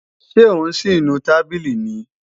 Ṣé ò ń sì nu tábìlì ni